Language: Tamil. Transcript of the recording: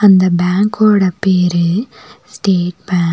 அந்த பேங்கோட பேரு ஸ்டேட் பேங்க் .